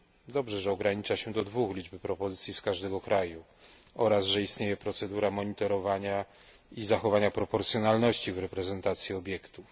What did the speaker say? Dobrze, że ogranicza się do dwóch liczbę propozycji z każdego kraju oraz że istnieje procedura monitorowania i zachowania proporcjonalności w reprezentacji obiektów.